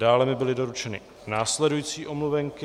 Dále mi byly doručeny následující omluvenky.